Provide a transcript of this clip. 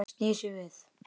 Snýr sér við.